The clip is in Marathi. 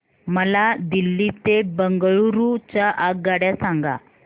मला दिल्ली ते बंगळूरू च्या आगगाडया सांगा